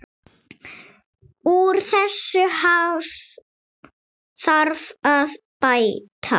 Úr þessu þarf að bæta.